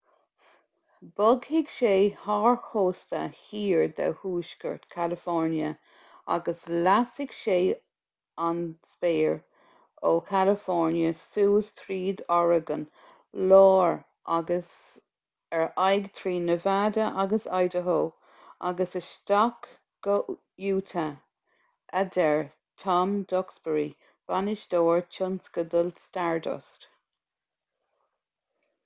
bogfaidh sé thar chósta thiar de thuaisceart california agus lasfaidh sé an spéir ó california suas tríd oregon láir agus ar aghaidh trí nevada agus idaho agus isteach go utah a deir tom duxbury bainisteoir tionscadail stardust